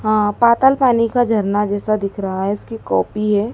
हा पाताल पानी का झरना जैसा दिख रहा है इसकी कॉपी है।